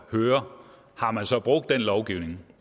høre om man så har brugt den lovgivning